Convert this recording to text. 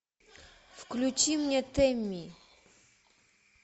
включи мне теми